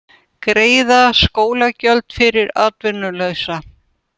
Greiða skólagjöld fyrir atvinnulausa